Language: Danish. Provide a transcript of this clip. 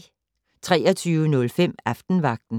23:05: Aftenvagten